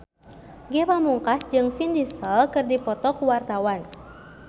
Ge Pamungkas jeung Vin Diesel keur dipoto ku wartawan